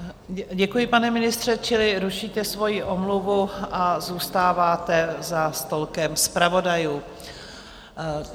Děkuji, pane ministře, čili rušíte svoji omluvu a zůstáváte za stolkem zpravodajů.